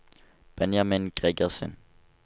Benjamin Gregersen